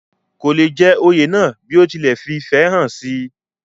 kò le jẹ oyè náà bí ó ti lẹ̀ fìfẹ́ hàn sí i